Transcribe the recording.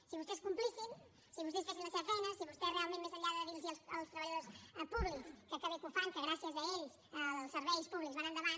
si vostès complissin si vostès fessin la seva feina si vostès realment més enllà de dir los als treballadors públics que bé que ho fan que gràcies a ells els serveis públics van endavant